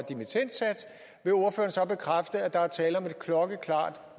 vil ordføreren så bekræfte at der er tale om et klokkeklart